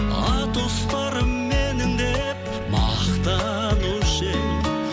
атұстарым менің деп мақтанушы едің